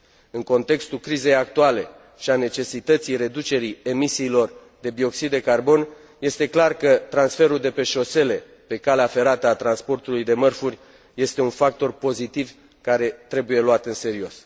În contextul crizei actuale și al necesității reducerii emisiilor de bioxid de carbon, este clar că transferul, de pe șosele pe calea ferată, al transportului de mărfuri este un factor pozitiv, care trebuie luat în serios.